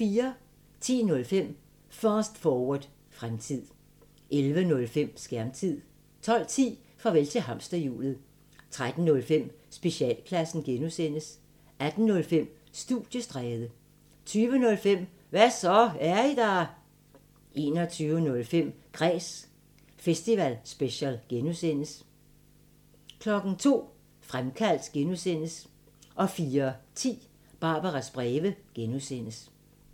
10:05: Fast forward fremtid 11:05: Skærmtid 12:10: Farvel til hamsterhjulet 13:05: Specialklassen (G) 18:05: Studiestræde 20:05: Hva' så, er I der? 21:05: Kræs festivalspecial (G) 02:00: Fremkaldt (G) 04:10: Barbaras breve (G)